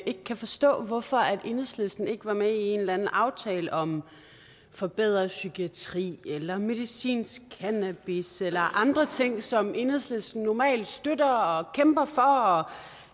ikke kan forstå hvorfor enhedslisten ikke var med i en eller anden aftale om forbedret psykiatri eller medicinsk cannabis eller andre ting som enhedslisten normalt støtter og kæmper for og